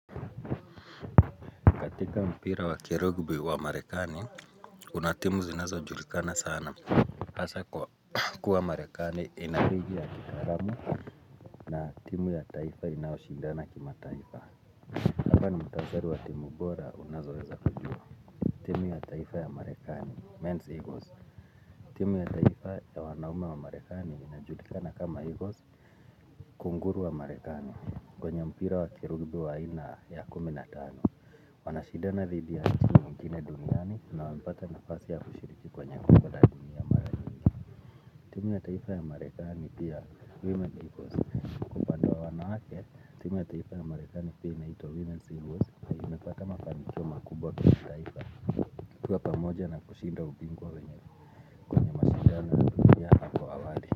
Katika mpira wa kirugubi wa marekani, kuna timu zinazo julikana sana. Asa kuwa marekani inaligi ya kitaramu na timu ya taifa inaoshindana kimataifa. Hapa ni mutansari wa timu bora unazoweza kujua. Timu ya taifa ya marekani, men's eagles. Timu ya taifa ya wanaume wa marekani inajulikana kama eagles, kunguru wa marekani. Kwenye mpira wa kirugubi wa ina ya kuminatano. Wanashidana dhidi antini kine duniani na wampata nafasi ya kushiriki kwa nyako kwa ladini timu ya taifa ya marekani pia women's heroes kwa pande ya wanawake timu ya taifa ya marekani pia inahitwa women's heroes na imepata mafanikio makubwa kwa taifa Kwa pamoja na kushinda ubingwa wenye mashindano na dunia hapo awali.